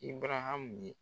Ibunaham ye